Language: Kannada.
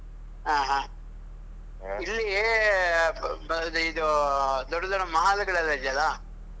ಆಹ್ ಆಹ್ ಇಲ್ಲಿ ಬ ಇದು ದೊಡ್ಡ ದೊಡ್ಡ mall ಗಳೆಲ್ಲ ಇದೆಯಲ್ಲ?